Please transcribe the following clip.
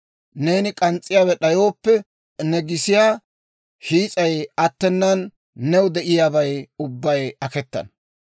Neeni k'ans's'iyaawe d'ayooppe, ne gisiyaa hiis'ay attenan, new de'iyaabay ubbay aketana.